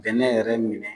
Bɛnɛ yɛrɛ minɛ